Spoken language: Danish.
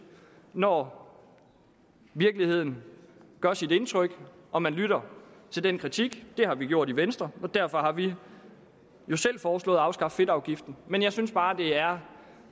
når virkeligheden gør indtryk og man lytter til den kritik det har vi gjort i venstre og derfor har vi jo selv foreslået at afskaffe fedtafgiften men jeg synes bare det er